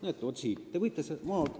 Näete, vaat siin!